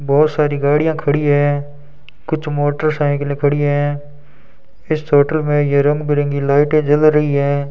बहोत सारी गाड़ियां खड़ी हैं कुछ मोटरसाइकिले खड़ी हैं इस होटल में ये रंग बिरंगी लाइटें जल रही हैं।